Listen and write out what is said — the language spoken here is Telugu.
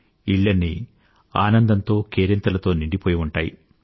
ఇళ్ళన్నీ ఆనందంతో కేరింతలతో నిండిపోయి ఉంటాయి